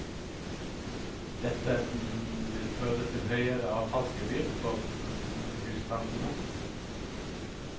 Dette vil føre til høyere avfallsgebyr for husstandene.